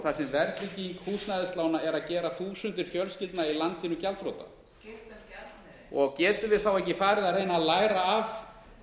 þar sem verðtrygging húsnæðislána er að gera þúsundir fjölskyldna í landinu gjaldþrota getum við ekki farið að reyna að læra af